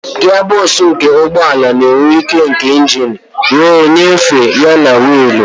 Gia bọksụ nke ụgbọ ala na-ewe ike nke engine wee nyefee ya na wiili.